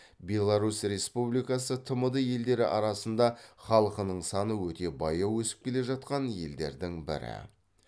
беларусь республикасы тмд елдері арасында халықының саны өте баяу өсіп келе жатқан елдердің бірі